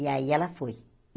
E aí ela foi.